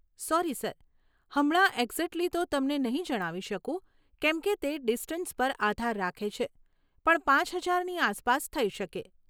Sorry sir, હમણાં exactly તો તમને નહીં જણાવી શકું કેમ કે તે ડિસ્ટન્સ પર આધાર રાખે છે પણ પાંચ હજારની આસપાસ થઈ શકે.